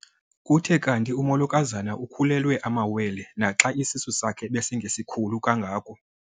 Kuthe kanti umolokazana ukhulelwe amawele naxa isisu sakhe besingesikhulu kangako.